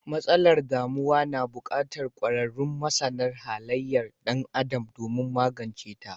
Matsalar damuwa na bukatar kwararun masana halayar dan Adam domin maganceta.